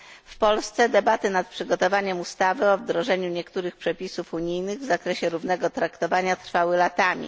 W Polsce debaty nad przygotowaniem ustawy o wdrożeniu niektórych przepisów unijnych w zakresie równego traktowania trwały latami.